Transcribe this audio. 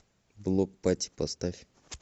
блок пати поставь